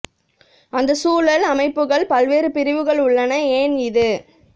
அந்த சூழல் அமைப்புகள் பல்வேறு பிரிவுகள் உள்ளன ஏன் இது